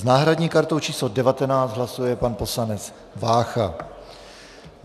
S náhradní kartou číslo 19 hlasuje pan poslanec Vácha.